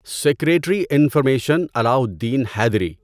secretary information Alauddin Haidri